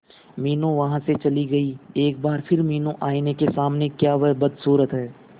मीनू वहां से चली गई एक बार फिर मीनू आईने के सामने क्या वह बदसूरत है